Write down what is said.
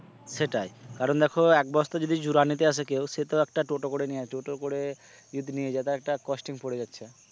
সেটাই কারণ দেখো এক বস্তা যদি জুরা নিতে আসে কেউ সে তো একটা টোটো করে নিয়ে টোটো করে যদি নিয়ে যায় তাহলে একটা costing পড়ে যাচ্ছে।